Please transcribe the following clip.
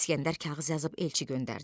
İskəndər kağız yazıb elçi göndərdi.